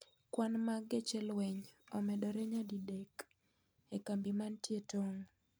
Kwan mag geche lweny omedore nyadidek e kambi manie e tong'.